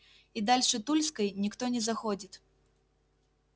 и дальше тульской никто не заходит